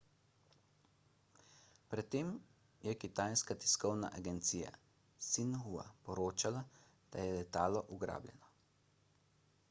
pred tem je kitajska tiskovna agencija xinhua poročala da je letalo ugrabljeno